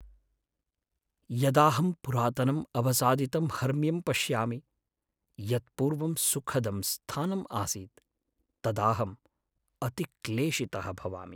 यदाहं पुरातनम् अवसादितं हर्म्यं पश्यामि, यत् पूर्वं सुखदं स्थानम् आसीत्, तदाहम् अतिक्लेशितः भवामि।